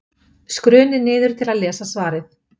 Skrunið niður til að lesa svarið.